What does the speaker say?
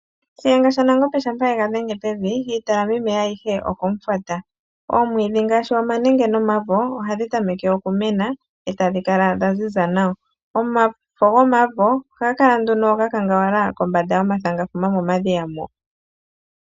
Shiyenga shanangombe shampa egadhenge pevi iitalami meya ayihe oko mufwata. Omwiidi ngaashi oomanenge noomavo ohadhi tameke oku mena e tadhi kala dha ziza nawa. Omafo gomavo ohaga kala ga kangawala kombanda yomathangafuma momadhiya mo.